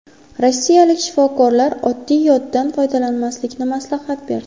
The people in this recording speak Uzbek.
Rossiyalik shifokorlar oddiy yoddan foydalanmaslikni maslahat berdi.